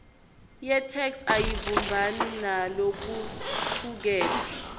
yetheksthi ayibumbani nalokucuketfwe